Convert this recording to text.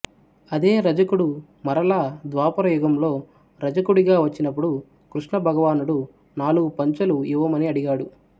అదే రజకుడు మరల ద్వాపర యుగంలో రజకుడిగా వచ్చినపుడు కృష్ణ భగవానుడు నాలుగు పంచెలు యివ్వమని అడిగాడు